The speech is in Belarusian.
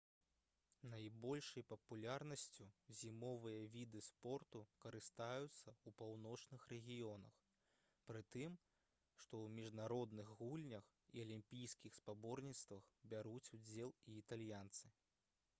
найбольшай папулярнасцю зімовыя віды спорту карыстаюцца ў паўночных рэгіёнах пры тым што ў міжнародных гульнях і алімпійскіх спаборніцтвах бяруць удзел і італьянцы